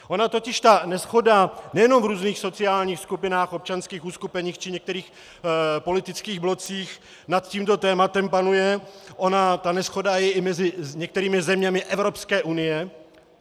Ona totiž ta neshoda nejenom v různých sociálních skupinách, občanských uskupeních či některých politických blocích nad tímto tématem panuje, ona ta neshoda je i mezi některými zeměmi Evropské unie.